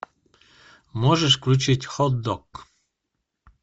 можешь включить хот дог